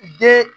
Den